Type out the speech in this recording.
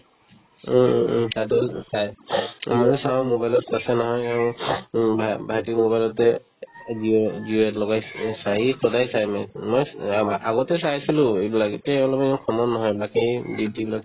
উম উম উম তাত হ'ল চাই মানে চাও মোবাইলত আছে নহয় এই উম এই ভা ~ ভাইটিৰ mobile তে এ ~এ জিও জিও APP লগাই পিনে চায়ে সদায় চাই মানে মই উম আ ~ আগতে চাইছিলো এইবিলাক এতিয়া ওলাবলৈ সময় নহয় বাকি duty বিলাক